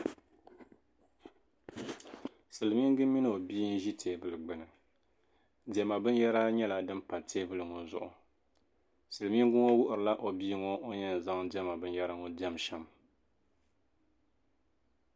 silimiinga mini o bia n-ʒi teebuli gbuni diɛma binyɛra nyɛla din be teebuli ŋɔ zuɣu silimiinga ŋɔ wuhirila o bia ŋɔ o ni yɛn zaŋ diɛma binyɛra ŋɔ n-diɛm shɛm